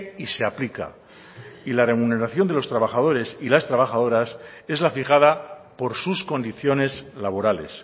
y se aplica y la remuneración de los trabajadores y las trabajadoras es la fijada por sus condiciones laborales